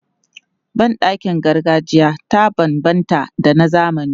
Ban ɗakin gargajiya ta banbanta da na zamani.